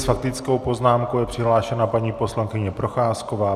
S faktickou poznámkou je přihlášena paní poslankyně Procházková.